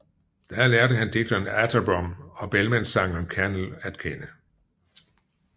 Der lærte han digteren Atterbom og Bellmanssangeren Kernell at kende